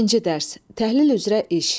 İkinci dərs: təhlil üzrə iş.